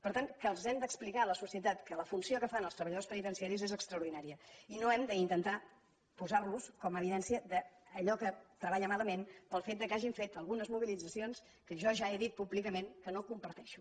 per tant que els hem d’explicar a la societat que la funció que fan els treballadors penitenciaris és extraordinària i no hem d’intentar posar los com a evidència d’allò que treballa malament pel fet que hagin fet alguns mobilitzacions que jo ja he dit públicament que no comparteixo